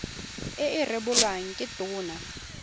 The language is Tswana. e e rebolwang ke tona